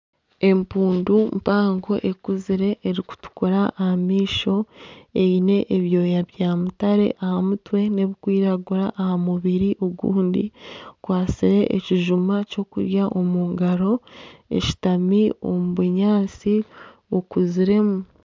Empundu mpango ekuzire erikutukura aha maisho eine ebyoya bya mutare aha mutare n'ebikwiragura aha mubiri ogundi ekwatsire ekijuma ky'okurya omungaro eshutami omu bunyaatsi bukuziremu.